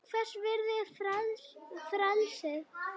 Hvers virði er frelsið?